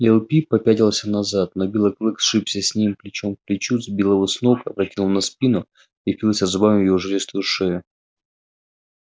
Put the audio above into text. лип лип попятился назад но белый клык сшибся с ним плечо к плечу сбил его с ног опрокинул на спину и впился зубами в его жилистую шею